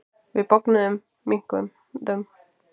Við bognuðum, minnkuðum.